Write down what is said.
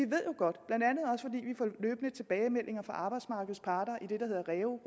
får løbende tilbagemeldinger fra arbejdsmarkedets parter i det der hedder reu